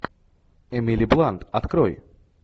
эмили блант открой